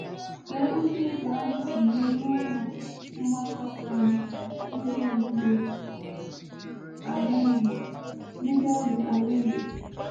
Lee otú nke ahụ si mee n’ụlọ mgbakọ San Miguel de Allende. Miguel de Allende.